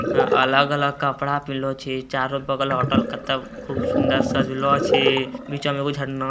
अलग-अलग कपड़ा पिनहलो छै चारो बगल होटल कते खूबसुंदर सजलो छै नीचा मे एगो झरना --